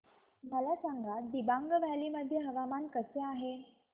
मला सांगा दिबांग व्हॅली मध्ये हवामान कसे आहे